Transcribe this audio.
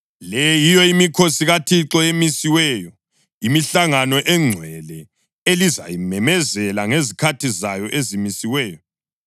“ ‘Le yiyo imikhosi kaThixo emisiweyo, imihlangano engcwele elizayimemezela ngezikhathi zayo ezimisiweyo: